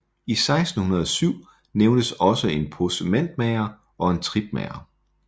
I 1607 nævnes også en possementmager og en tripmager